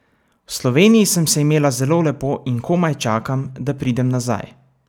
V Sloveniji sem se imela zelo lepo in komaj čakam, da pridem nazaj!